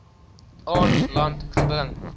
aan land gebring